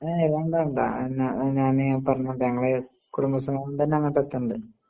ഏയ് വേണ്ട വേണ്ട എന്ന നാനി പറഞ്ഞോട്ടെ ഞങ്ങള് കുടുംബസമേതംതന്നെ അങ്ങോട്ടെത്തണ്ട്.